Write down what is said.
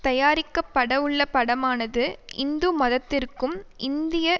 தயாரிக்க படவுள்ள படமானது இந்து மதத்திற்கும் இந்திய